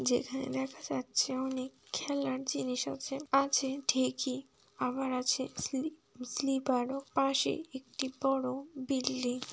যেখানে দেখা যাচ্ছে অনেক খেলার জিনিস আছে আছে ঠিকই আবার আছে স্লি-স্লিপার পাশের একটি বড় বিল্ডিং ।